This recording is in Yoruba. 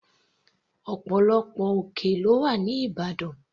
Ọ̀pọ̀lọpọ̀ òkè lọ́wà ní ìbàdàn.